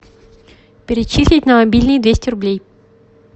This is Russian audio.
перечислить на мобильный двести рублей